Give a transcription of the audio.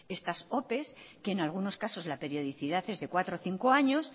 estas opes que en algunos casos la periodicidad es de cuatro a cinco años